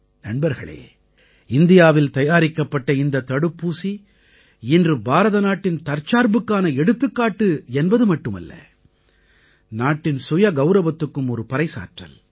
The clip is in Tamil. நண்பர்களே இந்தியாவில் தயாரிக்கப்பட்ட இந்தத் தடுப்பூசி இன்று பாரதநாட்டின் தற்சார்புக்கான எடுத்துக்காட்டு என்பது மட்டுமல்ல நாட்டின் சுயகௌரவத்துக்கும் ஒரு பறைசாற்றல்